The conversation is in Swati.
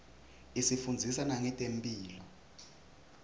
isifundzisa nangetemphilo